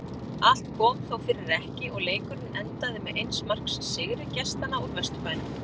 Allt kom þó fyrir ekki og leikurinn endaði með eins marks sigri gestanna úr Vesturbænum.